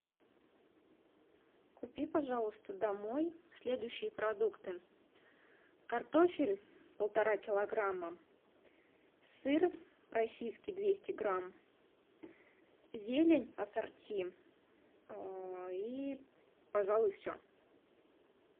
купи пожалуйста домой следующие продукты картофель полтора килограмма сыр российский двести грамм зелень ассорти и пожалуй все